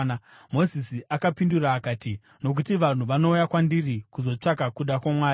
Mozisi akamupindura akati, “Nokuti vanhu vanouya kwandiri kuzotsvaka kuda kwaMwari.